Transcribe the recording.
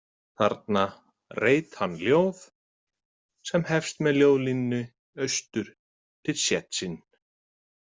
Þarna reit hann ljóð sem hefst með ljóðlínunni „Austur til Tsésjíh“.